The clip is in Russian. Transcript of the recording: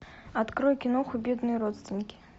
открой киноху бедные родственники